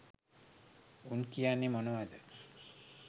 උන් කියන්නෙ මොනවද